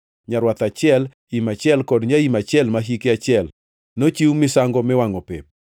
nyarwath achiel, im achiel kod nyaim achiel ma hike achiel, nochiw misango miwangʼo pep;